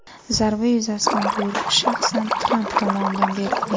Zarba yuzasidan buyruq shaxsan Tramp tomonidan berilgan .